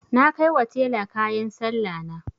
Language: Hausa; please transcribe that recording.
Na kai wa tela kayan Sallahna.